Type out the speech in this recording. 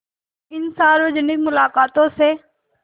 इन सार्वजनिक मुलाक़ातों से